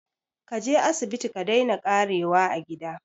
Kaje asibiti ka daina ƙarewa a gida